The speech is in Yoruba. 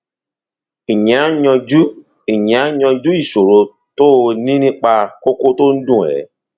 ìyẹn á yanjú ìyẹn á yanjú ìṣòro tó o ní nípa kókó tó ń dùn ẹ